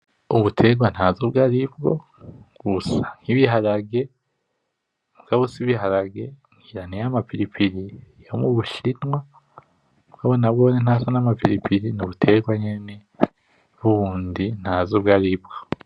Ubuterwa ntazi ubwaribwo busa nkibiharage mugabo sibiharage ngira niyama pilipili yomubushinwa mugabo nahone ntasa nkamapiliplili nubuterwa nyene bundi ntazi ubwaribwo.